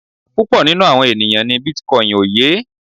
Púpọ̀ nínú àwọn ènìyàn ní bitcoin ó yé.